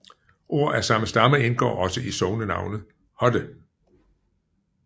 Ord af samme stamme indgår også i sognenavnet Hodde